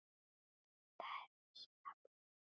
Það er missir að Bödda.